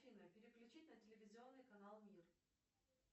афина переключить на телевизионный канал мир